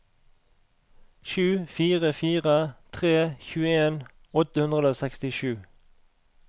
sju fire fire tre tjueen åtte hundre og sekstisju